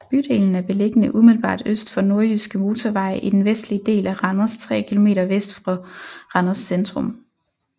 Bydelen er beliggende umiddelbart øst for Nordjyske Motorvej i den vestlige del af Randers tre kilometer vest for Randers centrum